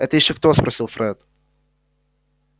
это ещё кто спросил фред